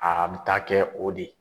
A bɛ taa kɛ o de ye.